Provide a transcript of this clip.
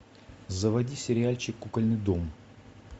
заводи сериальчик кукольный дом